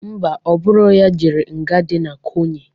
Ḿbà,Ọ bụrọ ya jere nga dị na Ikoyi.